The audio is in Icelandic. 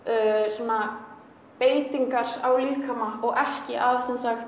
svona beitingar á líkama og ekki að